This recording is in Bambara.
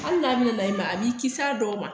Hali n'a bɛna na i ma a b'i kisi a dɔw ma